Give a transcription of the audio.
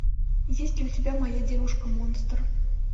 есть ли у тебя моя девушка монстр